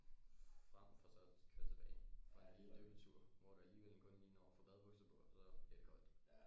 Frem for så at køre tilbage for en lille dyppetur hvor du alligevel kun lige når at få badebukser på og så bliver det koldt